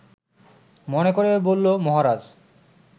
মনে করে বলল, মহারাজ